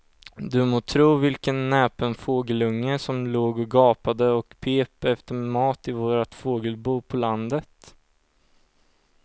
Du må tro vilken näpen fågelunge som låg och gapade och pep efter mat i vårt fågelbo på landet.